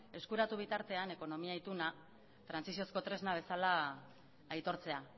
eskuratu bitartean ekonomia ituna trantsiziozko tresna bezala aitortzea